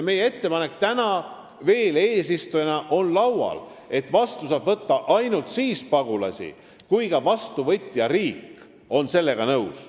Meie ettepanek täna, kui me oleme veel eesistuja, on see, et pagulasi saab vastu võtta ainult siis, kui vastuvõtja riik on sellega nõus.